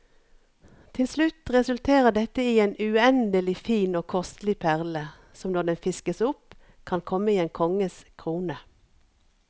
Til slutt resulterer dette i en uendelig fin og kostelig perle, som når den fiskes opp kan komme i en konges krone.